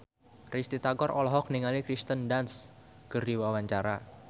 Risty Tagor olohok ningali Kirsten Dunst keur diwawancara